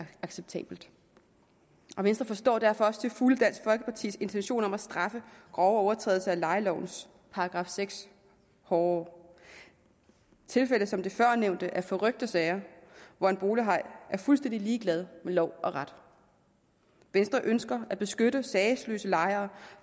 acceptabelt og venstre forstår derfor også til fulde dansk folkepartis intention om at straffe grove overtrædelser af lejelovens § seks hårdere tilfælde som førnævnte er forrykte sager hvor en bolighaj er fuldstændig ligeglad med lov og ret venstre ønsker at beskytte sagesløse lejere